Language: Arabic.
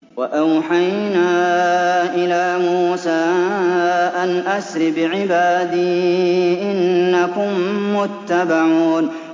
۞ وَأَوْحَيْنَا إِلَىٰ مُوسَىٰ أَنْ أَسْرِ بِعِبَادِي إِنَّكُم مُّتَّبَعُونَ